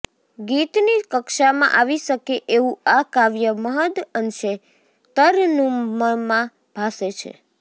ગીતની કક્ષામાં આવી શકે એવું આ કાવ્ય મહદ્ અંશે તરન્નુમમાં ભાસે છે